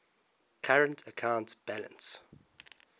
current account balance